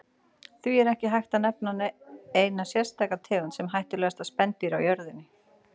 Því er ekki hægt að nefna eina sérstaka tegund sem hættulegasta spendýr á jörðinni.